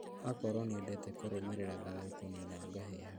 Akorwo nĩendete kũrũmĩrĩra thayũ kũnina ngahĩha